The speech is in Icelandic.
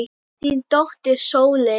Þín dóttir Sóley.